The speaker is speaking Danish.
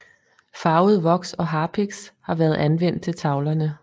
Farvet voks og harpiks har været anvendt til tavlerne